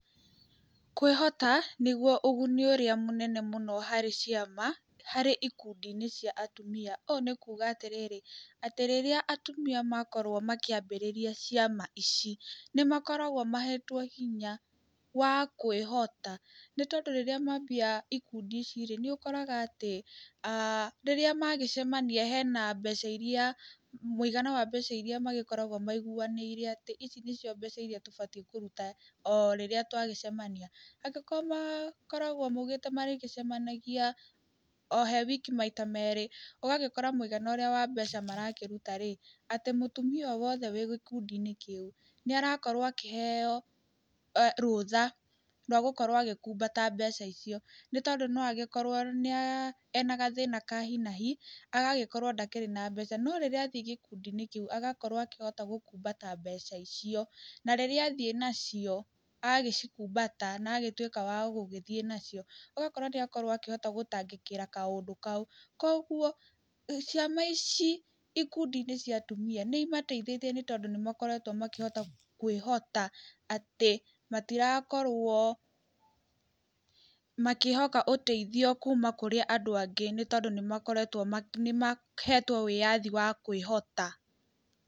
Kwĩhota nĩguo ũguni ũrĩa mũnene mũno harĩ ciama, harĩ ikundi -ĩnĩ cia atumia, ũũ nĩ kuga atĩrĩrĩ, atĩ rĩrĩa atumia makorwo makĩambĩrĩria ciama ici, nĩ makoragwo mahetwo hinya wa kwĩhota, nĩ tondũ rĩrĩa mambia ikundi ici rĩ, nĩ ũkoraga atĩ rĩrĩa magĩcemania hena mbeca iria, mũigana wa mbeca iria magĩkoragwo maiguwanĩire atĩ, ici nĩcio mbeca iria tũbatiĩ kũruta o rĩrĩa twagicemania, angĩkorwo makoragwo maigĩte marĩgĩcemagia ohe wiki maita merĩ, ũgagĩkora mwĩigana ũrĩa wa mbeca marakĩruta rĩ, atĩ mũtumia o wothe wĩgĩkundi-inĩ kĩu, nĩarakorwo akĩheyo rũtha rwa gũkorwo agĩkumbata mbeca icio, nĩ tondũ no agĩkorwo nĩa ena gathĩna ka hinahi, agagĩkorwo ndakĩrĩ na mbeca, no rĩrĩa athiĩ gĩkundi-inĩ kĩu, agagĩkorwo akĩhota gũkumbata mbeca icio, na rĩrĩa athiĩ nacio, agĩcikumbata nagĩtuĩka wa gũgĩthiĩ nacio, ũgakora nĩ akĩhota gũtangĩkĩra kaũndũ kau, koguo ciama ici ikundi-inĩ cia atumia nĩ imateithĩtie nĩ tondu nĩ makoretwo makĩhota kwĩhota atĩ matirakorwo, makĩhoka ũteithio kuuma kũrĩ andũ angĩ, nĩ tondũ nĩ makoretwo nĩ mahetwo wĩyathi wa kwĩhota.